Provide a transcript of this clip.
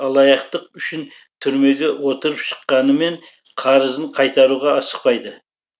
алаяқтық үшін түрмеге отырып шыққанымен қарызын қайтаруға асықпайды